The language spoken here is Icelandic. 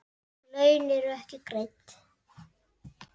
Laun eru ekki greidd.